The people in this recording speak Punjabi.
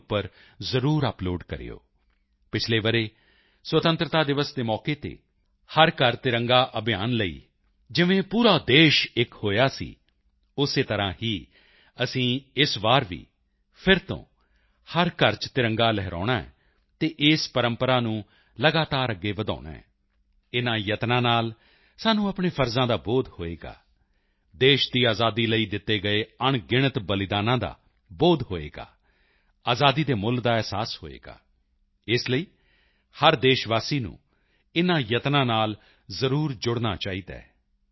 in ਉੱਪਰ ਜ਼ਰੂਰ ਅੱਪਲੋਡ ਕਰਿਓ ਪਿਛਲੇ ਵਰ੍ਹੇ ਸੁਤੰਤਰਤਾ ਦਿਵਸ ਦੇ ਮੌਕੇ ਤੇ ਹਰ ਘਰ ਤਿਰੰਗਾ ਅਭਿਯਾਨ ਲਈ ਜਿਵੇਂ ਪੂਰਾ ਦੇਸ਼ ਇੱਕ ਹੋਇਆ ਸੀ ਉਸੇ ਤਰ੍ਹਾਂ ਹੀ ਅਸੀਂ ਇਸ ਵਾਰ ਵੀ ਫਿਰ ਤੋਂ ਹਰ ਘਰ ਚ ਤਿਰੰਗਾ ਲਹਿਰਾਉਣਾ ਹੈ ਅਤੇ ਇਸ ਪਰੰਪਰਾ ਨੂੰ ਲਗਾਤਾਰ ਅੱਗੇ ਵਧਾਉਣਾ ਹੈ ਇਨ੍ਹਾਂ ਯਤਨਾਂ ਨਾਲ ਸਾਨੂੰ ਆਪਣੇ ਫ਼ਰਜ਼ਾਂ ਦਾ ਬੋਧ ਹੋਵੇਗਾ ਦੇਸ਼ ਦੀ ਆਜ਼ਾਦੀ ਲਈ ਦਿੱਤੇ ਗਏ ਅਣਗਿਣਤ ਬਲੀਦਾਨਾਂ ਦਾ ਬੋਧ ਹੋਵੇਗਾ ਆਜ਼ਾਦੀ ਦੇ ਮੁੱਲ ਦਾ ਅਹਿਸਾਸ ਹੋਵੇਗਾ ਇਸ ਲਈ ਹਰ ਦੇਸ਼ਵਾਸੀ ਨੂੰ ਇਨ੍ਹਾਂ ਯਤਨਾਂ ਨਾਲ ਜ਼ਰੂਰ ਜੁੜਨਾ ਚਾਹੀਦਾ ਹੈ